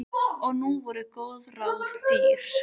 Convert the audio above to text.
Og nú voru góð ráð dýr.